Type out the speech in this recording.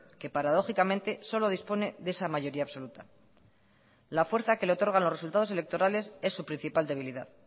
que paradójicamente solo dispone de esa mayoría absoluta la fuerza que le otorgan los resultados electorales es su principal debilidad